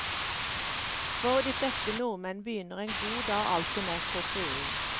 For de fleste nordmenn begynner en god dag alltid med koffein.